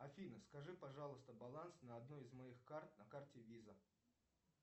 афина скажи пожалуйста баланс на одной из моих карт на карте виза